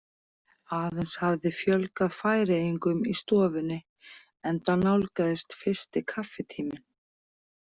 Aðeins hafði fjölgað Færeyingum í stofunni enda nálgaðist fyrsti kaffitíminn.